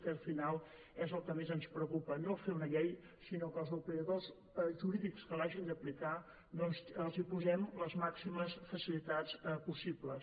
que al final és el que més ens preocupa no fer una llei sinó que als operadors jurídics que l’hagin d’aplicar doncs els posem les màximes facilitats possibles